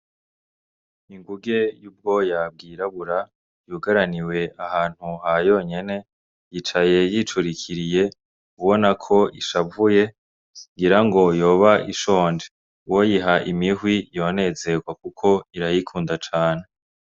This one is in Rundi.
Ingunge y'ubwoya bwirabura, yuguraniwe ahantu ha yonyene; yicaye yicurikiriye ubona ko ishavuye. Ngira ngo yoba ishonje. Uwoyiha imihwi yonezerwa kuko irayikunda cane.